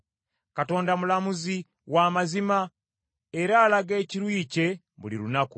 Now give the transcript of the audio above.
Katonda mulamuzi wa mazima; era alaga ekiruyi kye buli lunaku.